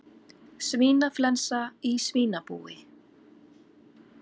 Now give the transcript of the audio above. Svínaflensa í svínabúi